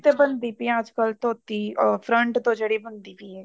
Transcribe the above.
ਤੇ ਬਣਦੀ ਪਈ ਆ ਅੱਜਕਲ ਧੋਤੀ front ਤੋਂ ਜਿਹੜੀ ਬਣਦੀ ਪਈ ਹੈ